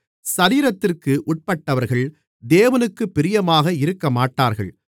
சரீரத்திற்கு உட்பட்டவர்கள் தேவனுக்குப் பிரியமாக இருக்கமாட்டார்கள்